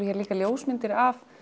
líka ljósmyndir af